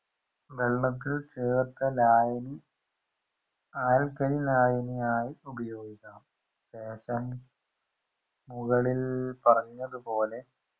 വെള്ളത്തിൽ ചേർത്ത ലായനി alkali ലായനിയായി ഉപയോഗിക്കണം ശേഷം മുകളിൽ പറഞ്ഞതുപോലെ